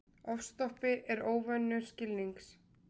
Ofstopi er óvinur skilnings.